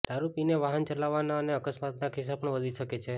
દારૂ પીને વાહન ચલાવવાના અને અકસ્માતના કિસ્સા પણ વધી શકે છે